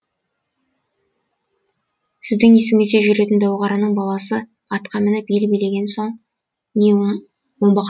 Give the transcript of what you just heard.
сіздің есігіңізде жүретін дәуқараның баласы атқа мініп ел билеген соң не оңбақшымыз